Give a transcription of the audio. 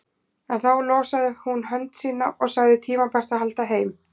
En þá losaði hún hönd sína og sagði tímabært að halda heim.